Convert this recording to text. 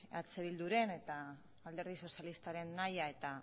eh bilduren eta alderdi sozialistaren nahia eta